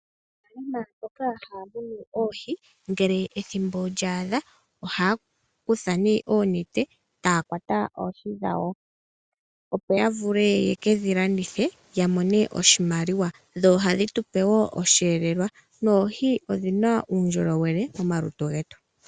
Uuna mboka haa munu oohi, ngele ethimbo lyaadha ohaa kutha nee oonete taakwata oohi dhawo. Opo ya vule yekedhilandithe yamone oshimaliwa. Dho ohadhi tu pe wo osheelelwa ,noohi odhina uundjolowele momalutu getu.